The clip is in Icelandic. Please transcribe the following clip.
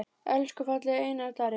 Elsku fallegi Einar Darri.